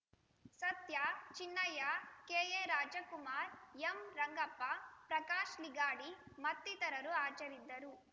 ಸತ್ಯ Chinnaiah K A Rajkumar M Rangappa Prakash Ligadi ಮತ್ತಿತರರು ಹಾಜರಿದ್ದರು